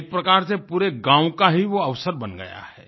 एक प्रकार से पूरे गाँव का ही वो अवसर बन गया है